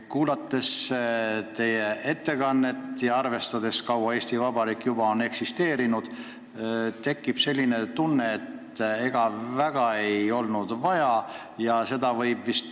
Kuulates teie ettekannet ja teades, kui kaua Eesti Vabariik on juba eksisteerinud, tekkis selline tunne, et ega väga vajalikuks seda seadust ei peetud.